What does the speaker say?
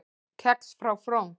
Kex frá Frón